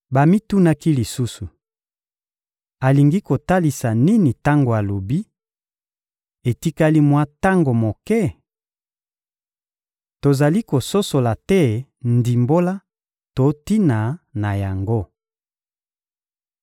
Bamitunaki lisusu: — Alingi kotalisa nini tango alobi: «Etikali mwa tango moke?» Tozali kososola te ndimbola to tina na yango.